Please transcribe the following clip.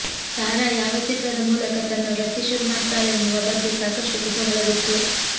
ಸಾರಾ ಯಾವ ಚಿತ್ರದ ಮೂಲಕ ತನ್ನ ವೃತ್ತಿ ಶುರುಮಾಡ್ತಾಳೆನ್ನುವ ಬಗ್ಗೆ ಸಾಕಷ್ಟು ಕುತೂಹಲವಿತ್ತು